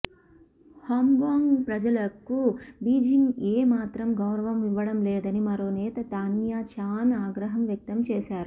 Hong Kong ప్రజలకు Beijing ఏమాత్రం గౌరవం ఇవ్వడంలేదని మరో నేత తాన్యా చాన్ ఆగ్రహం వ్యక్తం చేశారు